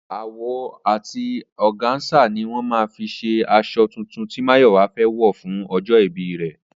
Awọ àti ọ̀gáńsà ni wọ́n máa fi ṣe aṣọ tuntun tí Máyọ̀wá fẹ́ wọ̀ fún ọjọ́ ìbí rẹ̀